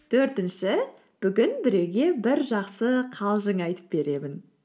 төртінші бүгін біреуге бір жақсы қалжың айтып беремін